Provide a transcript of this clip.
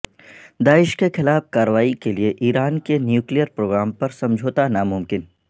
داعش کے خلاف کارروائی کے لئے ایران کے نیوکلیر پروگرام پر سمجھوتہ ناممکن